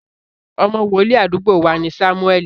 Ọmọ wòlíì àdúgbò wa ni Sámúẹ́ẹ̀lì